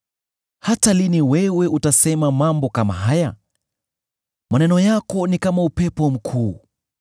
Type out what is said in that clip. “Hata lini wewe utasema mambo kama haya? Maneno yako ni kama upepo mkuu.